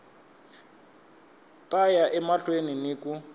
ta ya emahlweni ni ku